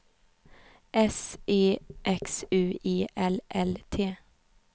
S E X U E L L T